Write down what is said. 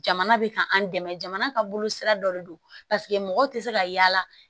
Jamana bɛ kan an dɛmɛ jamana ka bolo sira dɔ de do paseke mɔgɔ tɛ se ka yaala